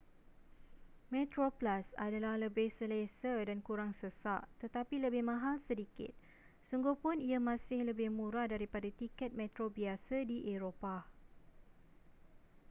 metroplus adalah lebih selesa dan kurang sesak tetapi lebih mahal sedikit sungguhpun ia masih lebih murah daripada tiket metro biasa di eropah